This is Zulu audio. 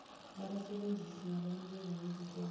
lwabasebenzisi kwabanikeza ngezinkonzo